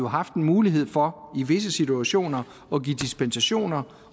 haft en mulighed for i visse situationer at give dispensation